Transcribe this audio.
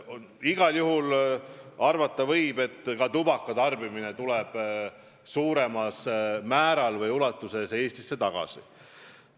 Igal juhul võib arvata, et ka tubakaoste hakatakse suuremas ulatuses jälle Eestis tegema.